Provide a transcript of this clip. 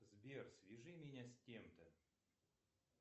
сбер свяжи меня с тем то